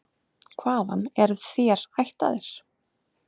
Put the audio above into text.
Hvaðan eru þér ættaðir?